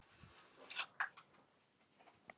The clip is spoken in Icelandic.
Skilaboð föður míns eru þessi.